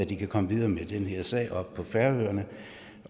kan komme videre med den her sag på færøerne